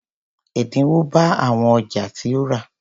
Ẹ̀dínwó bá àwọn ọjà tí o rà.